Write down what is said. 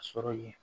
Sɔrɔ ye